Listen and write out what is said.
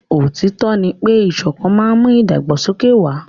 Òtítọ́ ní pé ìṣọ̀kan má n mú ìdàgbàsókè wà.